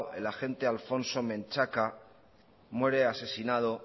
el agente alfonso mentxaka muere asesinado